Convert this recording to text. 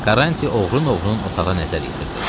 Karanti oğrun-oğrun otağa nəzər yetirdi.